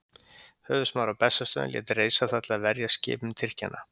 Höfuðsmaður á Bessastöðum lét reisa það til þess að verjast skipum Tyrkjanna.